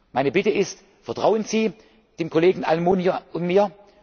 Meine Bitte ist Vertrauen Sie dem Kollegen Almunia und